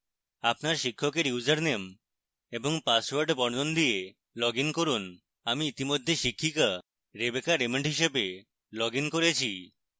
আপনার শিক্ষকের ইউসারনেম এবং পাসওয়ার্ড বর্ণন দিয়ে লগইন করুন